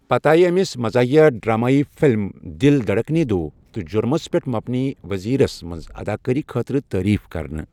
پتہٕ آیہِ أمِس مزٲحیہ ڈرٛامٲیی فلم، 'دل دھڑکنے دو' تہٕ جُرمس پیٹھ مبنی 'ؤزیٖرس' منٛز اَداکٲری خٲطرٕ تعریٖف کرنہٕ